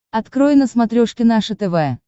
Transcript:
открой на смотрешке наше тв